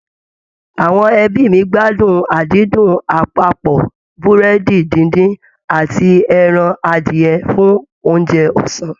Àwọn ẹbí mi gbádùn àdídùn àpapọ̀ Búrẹ́dì díndín àti ẹran adìyẹ fún oúnjẹ ọ̀sán